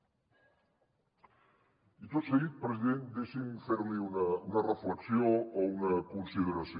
i tot seguit president deixi’m fer li una reflexió o una consideració